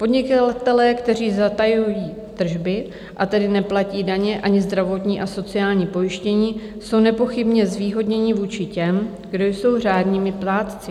Podnikatelé, kteří zatajují tržby, a tedy neplatí daně ani zdravotní a sociální pojištění, jsou nepochybně zvýhodněni vůči těm, kteří jsou řádnými plátci.